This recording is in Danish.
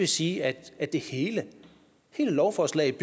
sige at hele lovforslaget